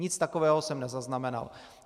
Nic takového jsem nezaznamenal.